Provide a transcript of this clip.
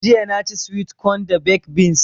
Jiya na ci (swit kon) da baked beans